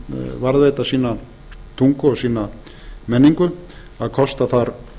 varðveita sína tungu og sína menningu að kosta þar